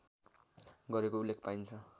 गरेको उल्लेख पाइन्छ